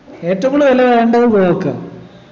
ഏറ്റവും കൂടുതൽ വില കാണണ്ടത് കോവക്കാ